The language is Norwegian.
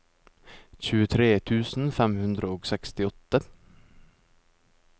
tjuetre tusen fem hundre og sekstiåtte